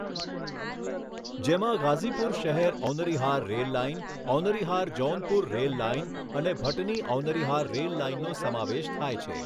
જેમાં ગાઝીપુર શહેર Aunrihar rail line, Aunrihar Jaunpur rail line અને ભટની ઔનરીહાર રેલ લાઇનનો સમાવેશ થાય છે.